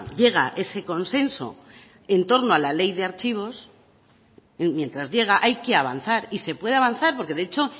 llega ese consenso en torno a la ley de archivos mientras llega hay que avanzar y se puede avanzar porque de hecho